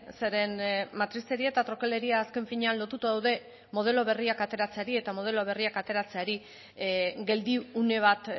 zeren matrizeria eta trokeleria azken finean lotuta daude modelo berriak ateratzeari eta modelo berriak ateratzeari geldiune bat